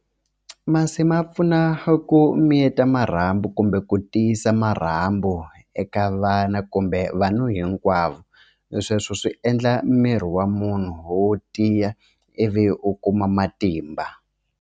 Masi ma pfuna ku miyeta marhambu kumbe ku tiyisa marhambu eka vana kumbe vanhu hinkwavo sweswo swi endla miri wa munhu wo tiya ivi u kuma matimba.